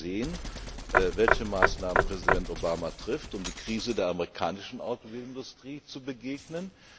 ist. Wir werden sehen, welche Maßnahmen Präsident Obama trifft, um der Krise der amerikanischen Automobilindustrie zu begegnen.